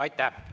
Aitäh!